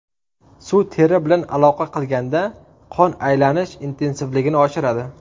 Suv teri bilan aloqa qilganda qon aylanish intensivligini oshiradi.